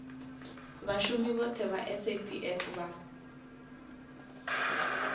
vhashumi vhothe vha saps vha